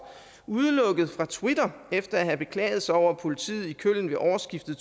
udelukket fra twitter efter at have beklaget sig over at politiet i köln ved årsskiftet